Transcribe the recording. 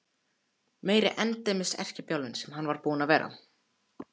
Meiri endemis erkibjálfinn sem hann var búinn að vera!